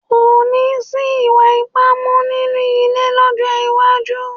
Kò ní sí ìwà ipá mọ́ nínú ilé lọ́jọ́ iwájú